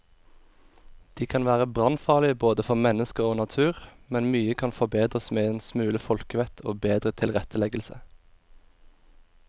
De kan være brannfarlige både for mennesker og natur, men mye kan forbedres med en smule folkevett og bedre tilretteleggelse.